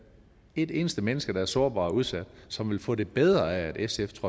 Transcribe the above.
et eneste menneske der er sårbar og udsat som ville få det bedre af at sfs